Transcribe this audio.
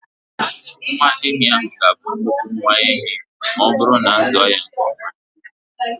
Nwa ehi ahụ ga-abụ nnukwu nwa ehi ma ọ bụrụ na a zụọ ya nke ọma.